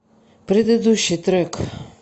предыдущий трек